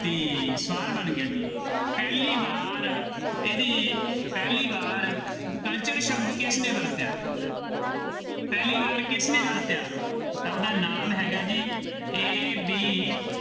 ~ਤੀ ਸਵਾਲ ਬਣ ਗਿਆ ਜੀ, ਪਹਿਲੀ ਵਾਰ ਇਹਦੀ ਪਹਿਲੀ ਵਾਰ culture ਸ਼ਬਦ ਕਿਸਨੇ ਵਰਤਿਆ ਪਹਿਲੀ ਵਾਰ ਕਿਸਨੇ ਵਰਤਿਆ ਉਹਦਾ ਨਾਮ ਹੈਗਾ ਜੀ AB